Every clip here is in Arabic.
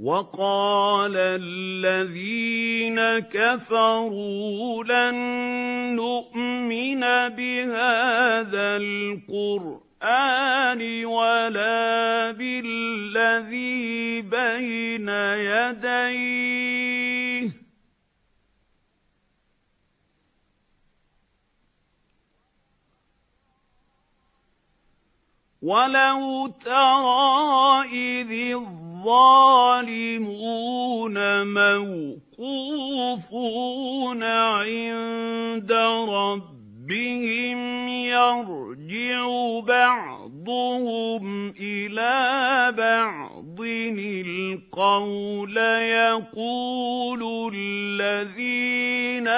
وَقَالَ الَّذِينَ كَفَرُوا لَن نُّؤْمِنَ بِهَٰذَا الْقُرْآنِ وَلَا بِالَّذِي بَيْنَ يَدَيْهِ ۗ وَلَوْ تَرَىٰ إِذِ الظَّالِمُونَ مَوْقُوفُونَ عِندَ رَبِّهِمْ يَرْجِعُ بَعْضُهُمْ إِلَىٰ بَعْضٍ الْقَوْلَ يَقُولُ الَّذِينَ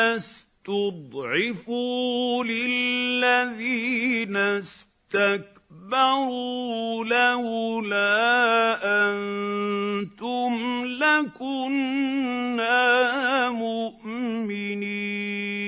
اسْتُضْعِفُوا لِلَّذِينَ اسْتَكْبَرُوا لَوْلَا أَنتُمْ لَكُنَّا مُؤْمِنِينَ